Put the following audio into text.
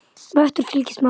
Vestur fylgir smátt.